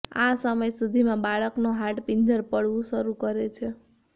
આ સમય સુધીમાં બાળકનો હાડપિંજર પડવું શરૂ કરે છે